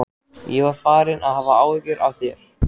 Ég var farinn að hafa áhyggjur af þér.